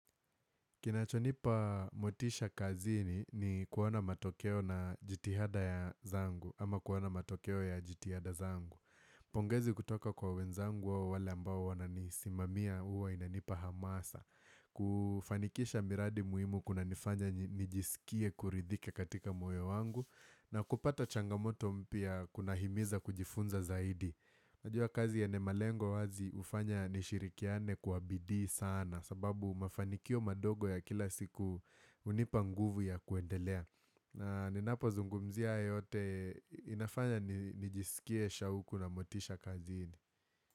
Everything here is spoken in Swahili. Kinacho nipa motisha kazini kuwa na matokeo na jitihada zangu ama kuwa na matokeo ya jitihada zangu. Pongezi kutoka kwa wenzangu wale ambao wananisimamia huwa inanipa hamasa. Kufanikisha miradi muhimu kuna nifanya nijisikie kuridhika katika moyo wangu na kupata changamoto mpya kunahimiza kujifunza zaidi. Najua kazi yanye malengo wazi hufanya nishirikiane kuabidi sana sababu mafanikio madogo ya kila siku hunipa nguvu ya kuendelea. Na ninapo zungumzia haya yote inafanya nijisikie shauku na motisha kaziini.